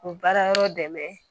O baara yɔrɔ dɛmɛ